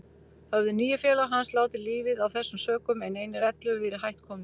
Höfðu níu félagar hans látið lífið af þessum sökum, en einir ellefu verið hætt komnir.